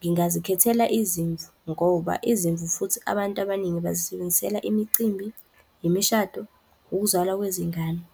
ngingazikhethela izimvu. Ngoba izimvu futhi abantu abaningi bazisebenzisela imicimbi, imishado, ukuzalwa kwezingane.